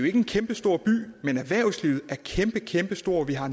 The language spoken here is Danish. ikke en kæmpestor by men erhvervslivet er kæmpe kæmpestort vi har